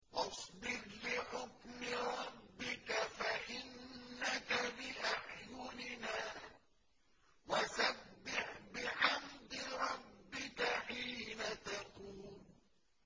وَاصْبِرْ لِحُكْمِ رَبِّكَ فَإِنَّكَ بِأَعْيُنِنَا ۖ وَسَبِّحْ بِحَمْدِ رَبِّكَ حِينَ تَقُومُ